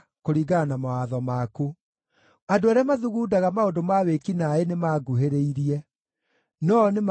Andũ arĩa mathugundaga maũndũ ma wĩki naaĩ nĩmanguhĩrĩirie, no-o nĩmaraihanĩrĩirie na watho waku.